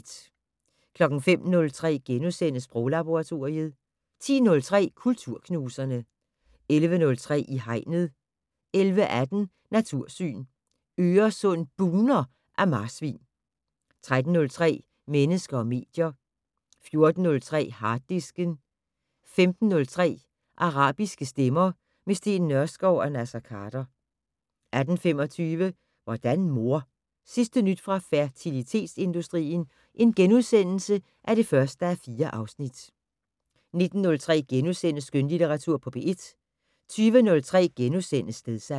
05:03: Sproglaboratoriet * 10:03: Kulturknuserne 11:03: I Hegnet 11:18: Natursyn: Øresund bugner af marsvin 13:03: Mennesker og medier 14:03: Harddisken 15:03: Arabiske stemmer - med Steen Nørskov og Naser Khader 18:25: Hvordan mor? Sidste nyt fra fertilitetsindustrien (1:4)* 19:03: Skønlitteratur på P1 * 20:03: Stedsans *